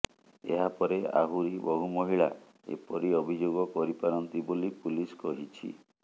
ଏହା ପରେ ଆହୁରି ବହୁ ମହିଳା ଏପରି ଅଭିଯୋଗ କରିପାରନ୍ତି ବୋଲି ପୁଲିସ କହିଛି